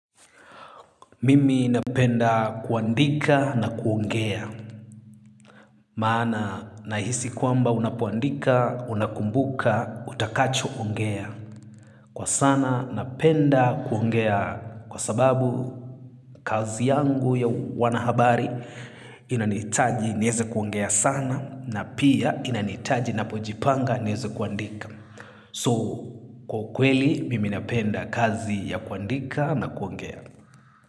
Mimi napenda kuandika na kuongea. Maana nahisi kwamba unapoandika, unakumbuka, utakacho ongea. Kwa sana napenda kuongea kwa sababu kazi yangu ya wanahabari inanitaji niweze kuongea sana na pia inanitaji napojipanga niweze kuandika. So, kwa kweli mimi napenda kazi ya kuandika na kuongea.